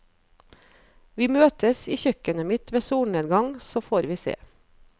Vi møtes i kjøkkenet mitt ved solnedgang, så får vi se.